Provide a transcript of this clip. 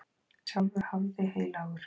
Sjálfur hafði heilagur